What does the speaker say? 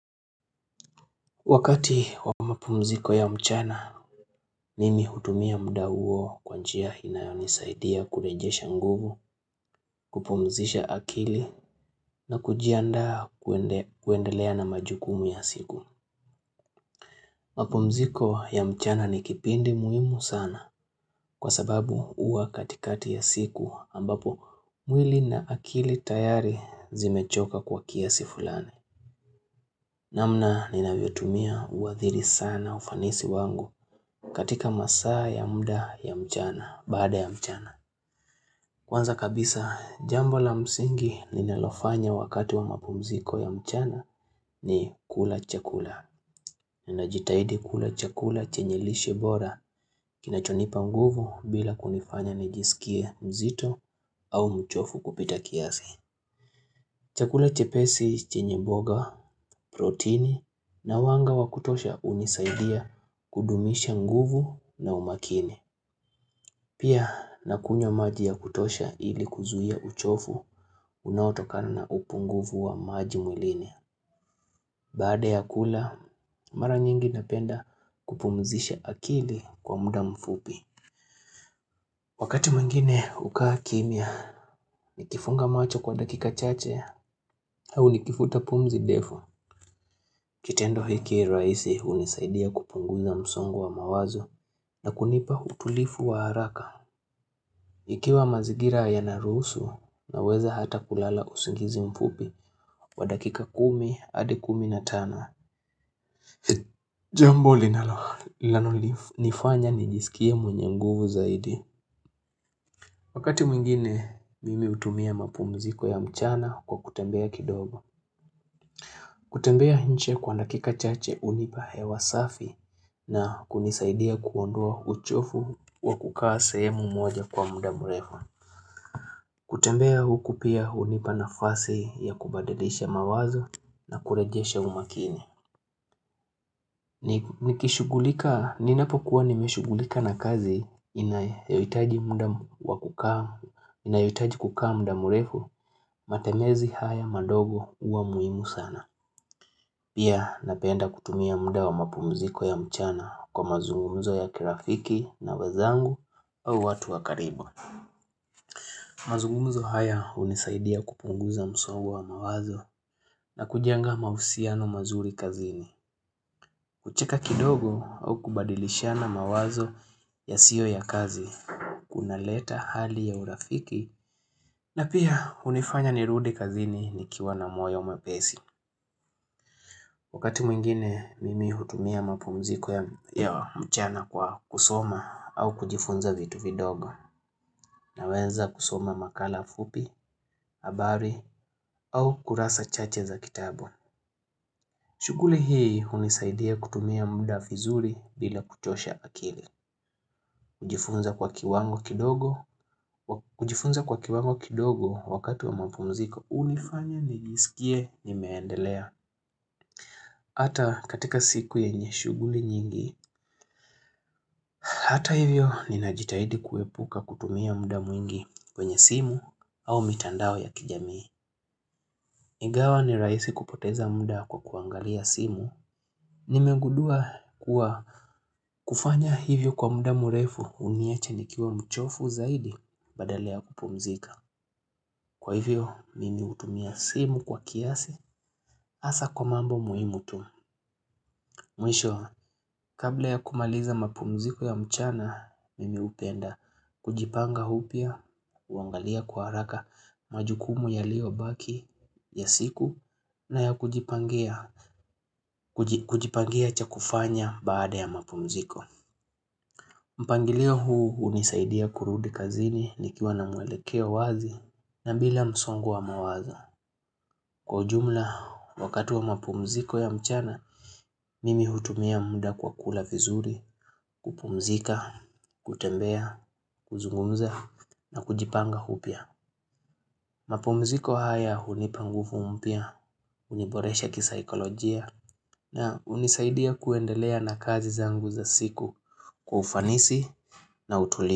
Wakati wa mapumziko ya mchana, mimi hutumia muda huo kwanjia inayonisaidia kurejesha nguvu, kupumzisha akili na kujiandaa kuendelea na majukumu ya siku. Mapumziko ya mchana ni kipindi muhimu sana kwa sababu huwa katikati ya siku ambapo mwili na akili tayari zimechoka kwa kiasi fulani. Namna nina vyotumia uwadhiri sana ufanisi wangu katika masaa ya muda ya mchana, baada ya mchana. Kwanza kabisa, jambo la msingi ninalofanya wakati wa mapumziko ya mchana ni kula chakula. Ninajitahidi kula chakula chenye lishe bora kinachonipa nguvu bila kunifanya nijisikie mzito au mchofu kupita kiasi. Chakula chepesi chenye mboga, protini na wanga wakutosha hunisaidia kudumisha nguvu na umakini. Pia nakunywa maji ya kutosha ili kuzuia uchofu unaotokana na upunguvu wa maji mwilini. Baada ya kula, mara nyingi napenda kupumzisha akili kwa muda mfupi. Wakati mwingine hukaa kimia, nikifunga macho kwa dakika chache, au nikifuta pumzi ndefu. Kitendo hiki rahisi hunisaidia kupunguza msongo wa mawazo na kunipa utulivu wa haraka. Ikiwa mazingira ya naruhusu unaweza hata kulala usingizi mfupi kwa dakika kumi, hadi kumi na tano. Jambo linalo linalo nifanya nijisikia mwenye nguvu zaidi. Wakati mwingine mimi hutumia mapumziko ya mchana kwa kutembea kidogo. Kutembea nje kwa dakika chache hunipa hewa safi na kunisaidia kuondoa uchofu wakukaa sehemu moja kwa muda murefu. Kutembea huku pia hunipa nafasi ya kubadadisha mawazo na kurejesha umakini. Nikishughulika, ninapokuwa nimeshughulika na kazi inayohitaji. Inayohitaji kukaa mda murefu, matembezi haya madogo huwa muhimu sana. Pia napenda kutumia muda wa mapumziko ya mchana kwa mazungumzo ya kirafiki na wazangu au watu wakaribu. Mazungumzo haya hunisaidia kupunguza msongo wa mawazo na kujenga mahusiano mazuri kazini. Kucheka kidogo au kubadilishana mawazo ya siyo ya kazi, kuna leta hali ya urafiki, na pia hunifanya nirudi kazini ni kiwa na moyo mwepesi. Wakati mwingine, mimi hutumia mapumziko ya mchana kwa kusoma au kujifunza vitu vidogo, na wenza kusoma makala fupi, habari, au kurasa chache za kitabu. Shuguli hii hunisaidia kutumia muda vizuri bila kuchosha akili. Kidogo kujifunza kwa kiwango kidogo wakati wa mapumziko. Hunifanya nijisikie nimeendelea. Hata katika siku yenye shughuli nyingi. Hata hivyo ninajitahidi kuepuka kutumia muda mwingi kwenye simu au mitandao ya kijamii. Ingawa ni rahisi kupoteza muda kwa kuangalia simu. Nimengudua kuwa kufanya hivyo kwa muda murefu huniacha nikiwa mchofu zaidi badala ya kupumzika. Kwa hivyo mimi hutumia simu kwa kiasi hasa kwa mambo muhimu tu mwisho. Kabla ya kumaliza mapumziko ya mchana mimi hupenda kujipanga upya, huangalia kwa haraka majukumu yaliyo baki ya siku na ya kujipangia kujipangia chakufanya baada ya mapumziko. Mpangilio huu hunisaidia kurudi kazini ni kiwa na mwelekeo wazi na bila msongo wa mawazo. Kwa ujumla, wakati wa mapumziko ya mchana, mimi hutumia muda kwa kula vizuri, kupumzika, kutembea, kuzungumza na kujipanga upya. Mapumziko haya hunipa nguvu mpya, huniboresha kisaikolojia na hunisaidia kuendelea na kazi zangu za siku kwa ufanisi na utulivu.